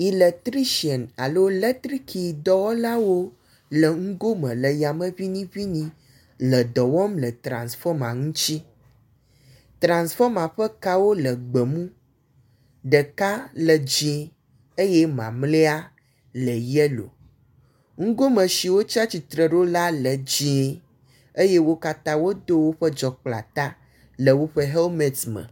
Eletritsian alo latrikidɔwɔlawo le ŋgo me le yame ŋiniŋini le dɔ wɔm le transfɔma ŋutsi. Transfɔma ƒe kawo le gbemu ɖeka le dzie eye mamlea le yelo. Ŋgo me si wotsi atsitre ɖo la le dzie eye wo katã wodo woƒe dzɔkpleata le woƒe helmeti me.